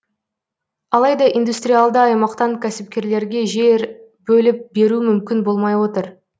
алайда индустриалды аймақтан кәсіпкерлерге жер бөліп беру мүмкін болмай отыр